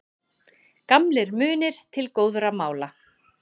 Gamlir munir til góðra mála